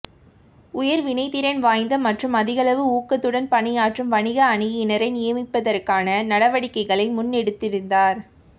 உயர் வினைத்திறன் வாய்ந்த மற்றும் அதிகளவு ஊக்கத்துடன் பணியாற்றும் வணிக அணியினரை நியமிப்பதற்கான நடவடிக்கைகளை முன்னெடுத்திருந்தார்